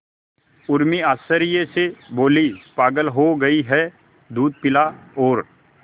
उर्मी आश्चर्य से बोली पागल हो गई है दूध पिला और